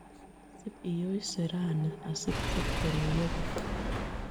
Sip yooyse raani asi sipkoruyo biik